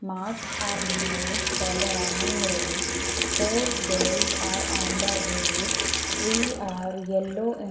marks are made for the running race four girls are on the race three are yellow in --